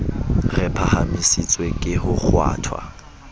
re phahamisitswe ke ho kgwathwa